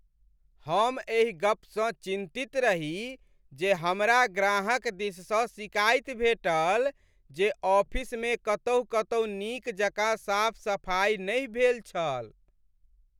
हमरा एहि गपसँ चिन्तित रही जे हमरा ग्राहक दिससँ सिकाइत भेटल जे ऑफिसमे कतहुँ कतहुँ नीक जकाँ साफ सफाइ नहि भेल छल।